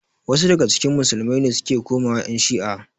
Wasu daga cikin musulmai ne suke komawa ƴan shi'a.